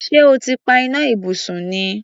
Ṣé o ti pa iná ibùsùn ni?